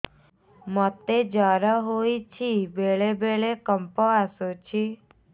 ମୋତେ ଜ୍ୱର ହେଇଚି ବେଳେ ବେଳେ କମ୍ପ ଆସୁଛି